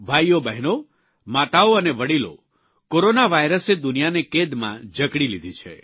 ભાઇઓ બહેનો માતાઓ અને વડીલો કોરોના વાયરસે દુનિયાને કેદમાં ઝકડી લીધી છે